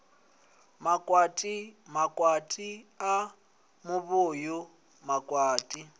makwati makwati a muvhuyu makwati